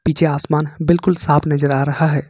पीछे आसमान बिल्कुल साफ नजर आ रहा है।